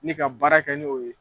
Me ka baara kɛ n'o ye.